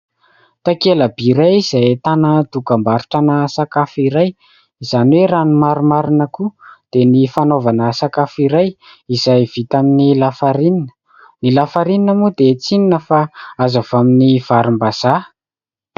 Takelaby iray izay ahitana dokam-barotra-na sakafo iray izany hoe raha ny marimarina koa dia ny fanaovana sakafo iray izay vita amin'ny lafarinina. Ny lafarinina moa dia tsy inona fa azo avy amin'ny varimbazaha.